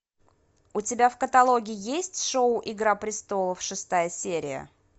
у тебя в каталоге есть шоу игра престолов шестая серия